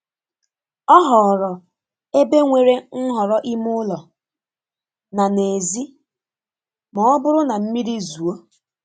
Ọ họọrọ ebe nwere nhọrọ ime ụlọ na n'èzí ma ọ bụrụ na mmiri zuo.